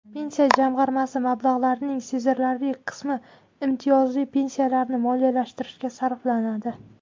Pensiya jamg‘armasi mablag‘larining sezilarli qismi imtiyozli pensiyalarni moliyalashtirishga sarflanadi.